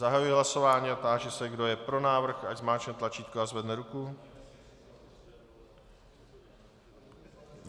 Zahajuji hlasování a táži se, kdo je pro návrh, ať zmáčkne tlačítko a zvedne ruku.